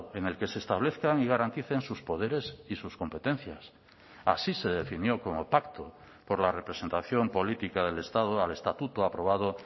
en el que se establezcan y garanticen sus poderes y sus competencias así se definió como pacto por la representación política del estado al estatuto aprobado